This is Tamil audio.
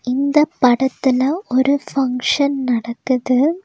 இந்த படத்துல ஒரு ஃபங்க்ஷன் நடக்குது.